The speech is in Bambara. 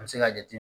An bɛ se ka jate